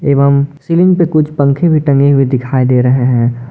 एवं सीलिंग पे कुछ पंखे भी टंगे हुई दिखाई दे रहे हैं।